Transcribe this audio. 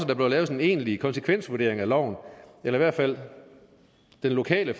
der bør laves en egentlig konsekvensvurdering af loven eller i hvert fald den lokale